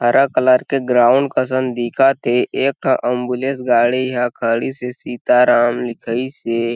हरा कलर के ग्राउंड कसन दिखथे एक ठो एम्बुलेंस गाड़ी ह खड़ी से सीता राम लिखाइसे।